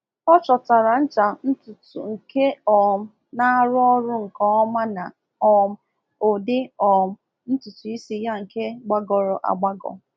Ọ chọtara ncha ntutu nke um na-arụ ọrụ nke ọma na um ụdị um ntutu isi ya nke gbagọrọ agbagọ.